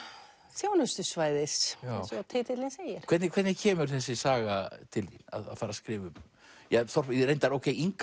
þjónustusvæðis eins og titillinn segir hvernig hvernig kemur þessi saga til þín að fara að skrifa um reyndar